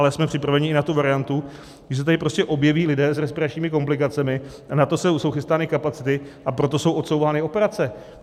Ale jsme připraveni i na tu variantu, že se tady prostě objeví lidé s respiračními komplikacemi, a na to jsou chystány kapacity, a proto jsou odsouvány operace.